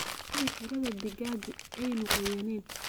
Hubi in xiradhaa digaagu aanu qoyanayn.